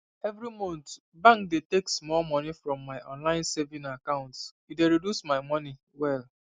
every month bank dey take small money from my online saving account e dey reduce my money well